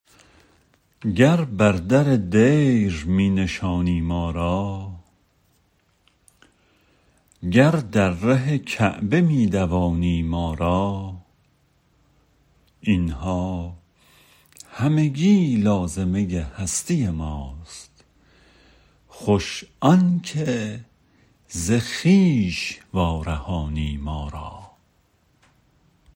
گر بر در دیر می نشانی ما را گر در ره کعبه می دوانی ما را این ها همگی لازمه هستی ماست خوش آن که ز خویش وارهانی ما را